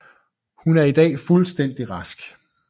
Hun er i dag fuldstændig rask